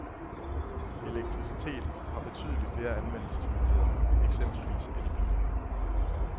Elektricitet har betydelig flere anvendelsesmuligheder, eksempelvis elbiler.